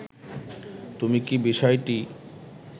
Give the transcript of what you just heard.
তুমি কি বিষয়টি